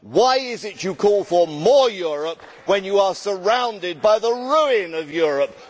Why is it you call for more Europe, when you are surrounded by the ruin of Europe.